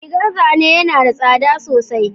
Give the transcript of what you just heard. Rigar zane yana da tsada sosai